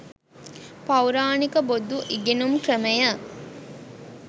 පෞරාණික බොදු ඉගෙනුම් ක්‍රමය